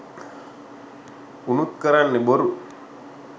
උනුත් කරන්නෙ බොරු